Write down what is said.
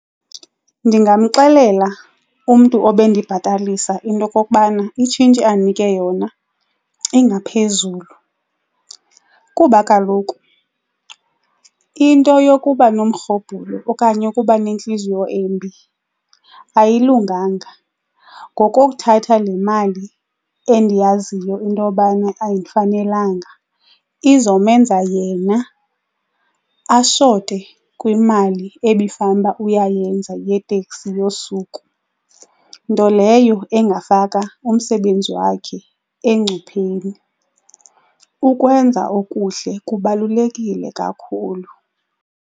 Ndingamxelela umntu obe ndibhatalisa into okokubana itshintshi andinike yona ingaphezulu kuba kaloku into yokuba nomrhobhulo okanye ukuba nentliziyo embi ayilunganga. Ngokokuthatha le mali endiyaziyo into yobana ayindifanelanga izomenza yena ashote kwimali ebifanele uba uyayenza yeteksi yosuku, nto leyo engafaka umsebenzi wakhe engcupheni. Ukwenza okuhle kubalulekile kakhulu.